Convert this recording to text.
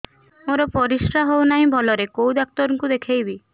ମୋର ପରିଶ୍ରା ହଉନାହିଁ ଭଲରେ କୋଉ ଡକ୍ଟର କୁ ଦେଖେଇବି